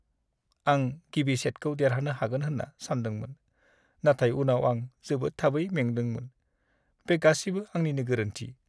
आं गिबि सेटखौ देरहानो हागोन होन्ना सानदोंमोन, नाथाय उनाव आं जोबोद थाबै मेंदोंमोन। बे गासिबो आंनिनो गोरोन्थि।